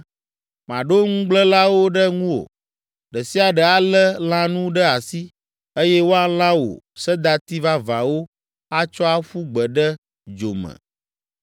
Maɖo nugblẽlawo ɖe ŋuwò, ɖe sia ɖe alé lãnu ɖe asi eye woalã wò sedati vavãwo atsɔ aƒu gbe ɖe dzo me.